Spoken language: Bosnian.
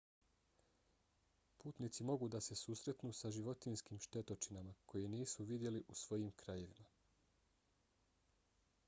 putnici mogu da se susretnu sa životinjskim štetočinama koje nisu vidjeli u svojim krajevima